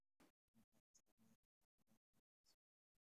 Waa maxay astamaha iyo calaamadaha Martsolfka?